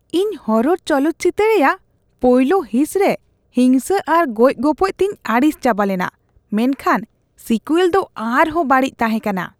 ᱤᱧ ᱦᱚᱨᱟᱨ ᱪᱚᱞᱚᱛ ᱪᱤᱛᱟᱹᱨ ᱨᱮᱭᱟᱜ ᱯᱳᱭᱞᱳ ᱦᱤᱸᱥ ᱨᱮ ᱦᱤᱝᱥᱟᱹ ᱟᱨ ᱜᱚᱡᱼᱜᱚᱯᱚᱡ ᱛᱮᱧ ᱟᱹᱲᱤᱥ ᱪᱟᱵᱟ ᱞᱮᱱᱟ, ᱢᱮᱱᱠᱷᱟᱱ ᱥᱤᱠᱩᱭᱮᱞ ᱫᱚ ᱟᱨᱦᱚᱸ ᱵᱟᱹᱲᱤᱡ ᱛᱟᱦᱮᱸ ᱠᱟᱱᱟ ᱾